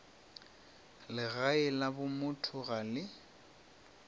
legae la bomotho ga le